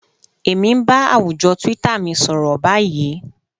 Èmi ń bá àwùjọ twitter mi sọ̀rọ̀ báyìí